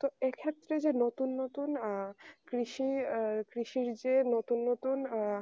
তো এই ক্ষত্রে যে নতুন নতুন আহ কৃষির যে নতুন নতুন আহ